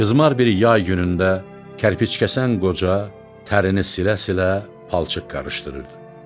Qızmar bir yay günündə kərpic kəsən qoca tərini silə-silə palçıq qarışdırırdı.